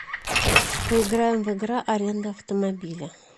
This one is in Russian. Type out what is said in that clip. поиграем в игра аренда автомобиля